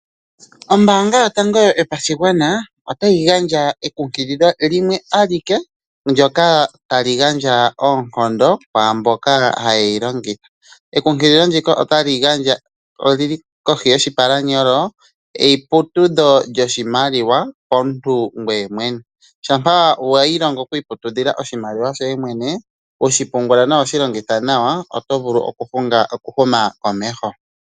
Ombaanga yotango yopashigwana otayi gandja ekunkililo limwe alike ndoka tali gandja oonkondo kwaamboka haye yi longitha. Ekunkililo ndika olili kohi yoshipalanyolo, eputudho lyoshimaliwa komuntu ngoye mwene. Shampa wa ilongo okuputudha oshimaliwa shoye mwene, hoshi pungula nawa nokushi longitha nawa oto vulu okuhuma komeho.